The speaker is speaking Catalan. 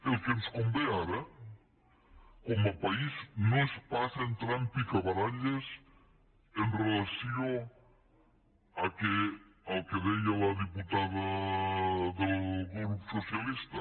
el que ens convé ara com a país no és pas entrar en picabaralles amb relació al que deia la diputada del grup socialista